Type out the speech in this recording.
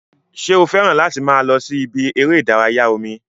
Ṣé o fẹ́ràn láti máa lọ sí ibi eré ìdárayá omi?